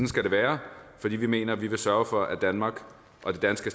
skal det være fordi vi mener at vi vil sørge for at danmark og det danske